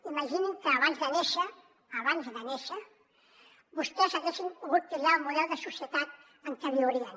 imaginin que abans de néixer abans de néixer vostès haguessin pogut triar el model de societat en què viurien